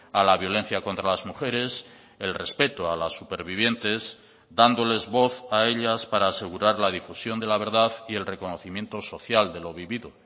a la violencia contra las mujeres el respeto a las supervivientes dándoles voz a ellas para asegurar la difusión de la verdad y el reconocimiento social de lo vivido